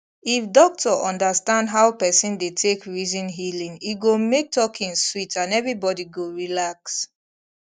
if doctor understand how person dey take reason healing e go make talking sweet and everybody go relax